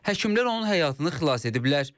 Həkimlər onun həyatını xilas ediblər.